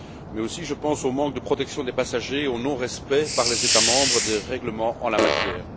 Mais aussi, je pense au manque de protection des passagers et au non respect, par les États membres, des règlements en la matière.